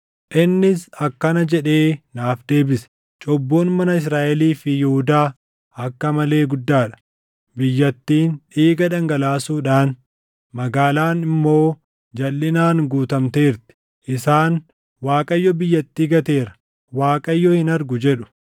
Innis akkana jedhee naaf deebise; “Cubbuun mana Israaʼelii fi Yihuudaa akka malee guddaa dha; biyyattiin dhiiga dhangalaasuudhaan, magaalaan immoo jalʼinaan guutamteerti. Isaan, ‘ Waaqayyo biyyattii gateera; Waaqayyo hin argu’ jedhu.